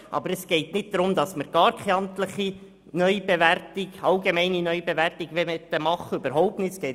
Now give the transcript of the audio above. Aber es geht nicht darum, dass wir gar keine allgemeine amtliche Neubewertung mehr machen möchten.